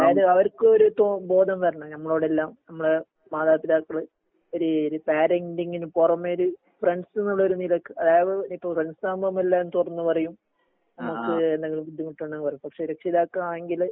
അതായത് അവർക്ക് ഒരു തോ ബോധം വരണം ഞമ്മളോടെല്ലാം ഞമ്മള് മാതാപിതാക്കള് ഒര് ഒരു പാരന്റിങിന് പുറമെ ഒരു ഫ്രണ്ട്സുന്നുള്ളൊരു നിലക്ക് അതായത് ഇനീപ്പോ ഫ്രണ്ട്സ് ആവുമ്പൊ നമ്മ എല്ലാം തുറന്ന് പറയും നമുക്ക് എന്തെങ്കിലും ബുദ്ധിമുട്ടുണ്ടെങ്കില് പറയും പക്ഷെ രക്ഷിതാക്കളാണെങ്കില്